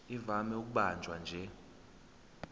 ivame ukubanjwa nje